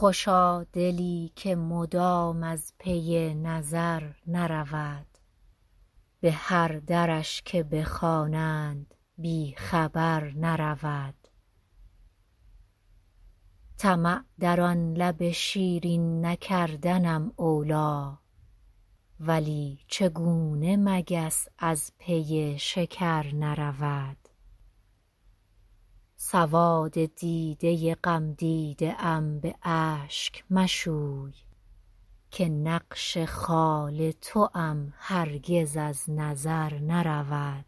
خوشا دلی که مدام از پی نظر نرود به هر درش که بخوانند بی خبر نرود طمع در آن لب شیرین نکردنم اولی ولی چگونه مگس از پی شکر نرود سواد دیده غمدیده ام به اشک مشوی که نقش خال توام هرگز از نظر نرود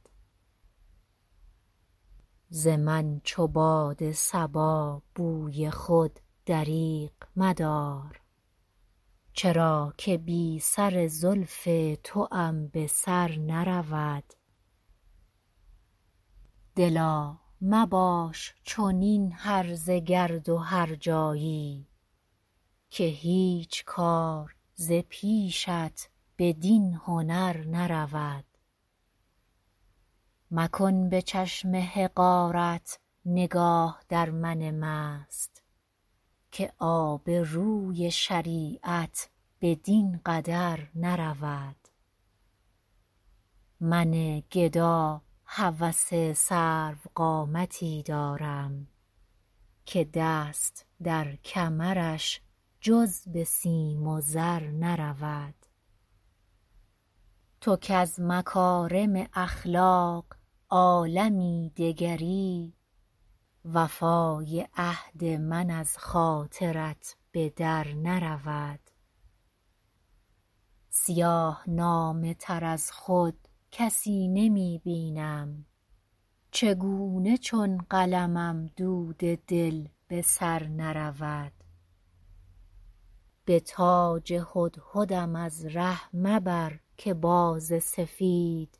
ز من چو باد صبا بوی خود دریغ مدار چرا که بی سر زلف توام به سر نرود دلا مباش چنین هرزه گرد و هرجایی که هیچ کار ز پیشت بدین هنر نرود مکن به چشم حقارت نگاه در من مست که آبروی شریعت بدین قدر نرود من گدا هوس سروقامتی دارم که دست در کمرش جز به سیم و زر نرود تو کز مکارم اخلاق عالمی دگری وفای عهد من از خاطرت به در نرود سیاه نامه تر از خود کسی نمی بینم چگونه چون قلمم دود دل به سر نرود به تاج هدهدم از ره مبر که باز سفید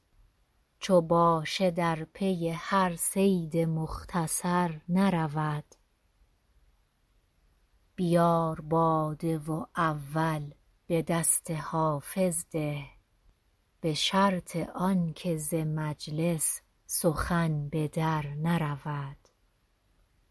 چو باشه در پی هر صید مختصر نرود بیار باده و اول به دست حافظ ده به شرط آن که ز مجلس سخن به در نرود